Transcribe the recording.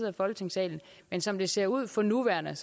af folketingssalen men som det ser ud for nuværende